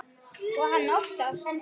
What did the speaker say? Og hann óttast.